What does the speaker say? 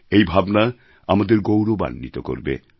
এই ভাবনা আমাদের গৌরবাণ্বিত করবে